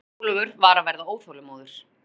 Jón Ólafur var að verða óþolinmóður.